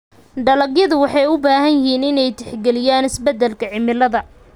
Dalagyadu waxay u baahan yihiin inay tixgeliyaan isbeddelka cimilada.